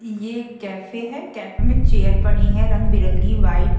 यह कैफे है कैफे में चेयर पड़ी है रंग बिरंगी वाइट --